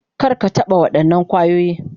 Kar ka taɓa waɗannan kwayoyi.